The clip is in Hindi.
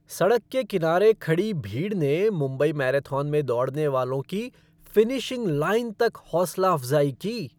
सड़क के किनारे खड़ी भीड़ ने मुंबई मैराथन में दौड़ने वालों की फ़िनिशिंग लाइन तक हौसला अफ़ज़ाई की।